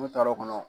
N'u taar'o kɔnɔ